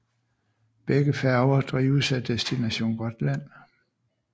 Begge færger drives af Destination Gotland